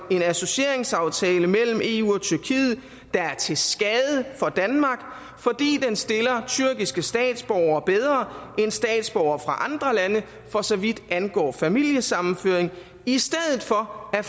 en associeringsaftale mellem eu og tyrkiet der er til skade for danmark fordi den stiller tyrkiske statsborgere bedre end statsborgere fra andre lande for så vidt angår familiesammenføring i stedet for at